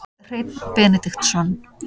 Hreinn Benediktsson